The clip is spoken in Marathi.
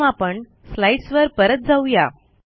प्रथम आपण स्लाईडसवर परत जाऊ या